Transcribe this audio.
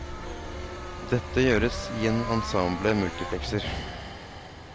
Dette gjøres i en ensemble multiplekser.